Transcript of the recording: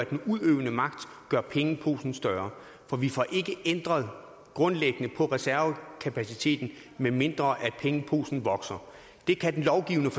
den udøvende magt gør pengeposen større for vi får ikke ændret grundlæggende på reservekapaciteten medmindre pengeposen vokser og det kan den lovgivende